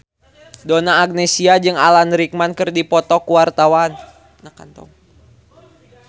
Donna Agnesia jeung Alan Rickman keur dipoto ku wartawan